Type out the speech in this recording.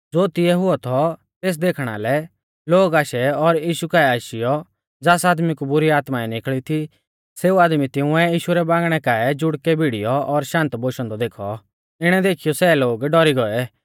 ज़ो तिऐ हुऔ थौ तेस देखणा लै लोग आशै और यीशु काऐ आशीयौ ज़ास आदमी कु बुरी आत्माऐं निकल़ी थी सेऊ आदमी तिंउऐ यीशु रै बांगणै काऐ जुड़कै भिड़ीऔ और शान्त बोशौ औन्दौ देखौ इणै देखीयौ सै लोग डौरी गौऐ